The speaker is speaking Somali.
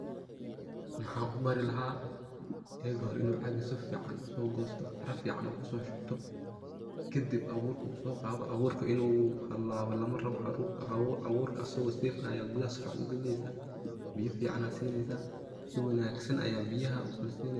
Maxan ubari lahaa ega hore inuu caag sufican uso goosto, caraa fican uu kuso shubto kadib abur uu soo qaado, aburka inu halaawo lama rabo, aburka asago safe ah ayad si fican gudaha ugelineysa, biya fican ayad sineysa, si wanaagsan aya biyaha ukala sineysa.